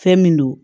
Fɛn min don